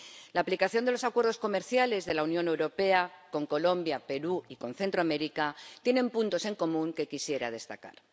La aplicación de los Acuerdos Comerciales de la Unión Europea con Colombia, Perú y con Centroamérica tienen puntos en común que quisiera destacar.